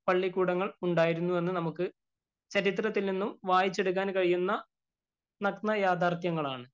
പള്ളിക്കുടങ്ങള്‍ ഉണ്ടായിരുന്നുവെന്നു ചരിത്രത്തില്‍ നിന്നും വായിച്ചെടുക്കാന്‍ കഴിയുന്ന നഗ്നയാഥാര്‍ത്ഥ്യങ്ങളാണ്.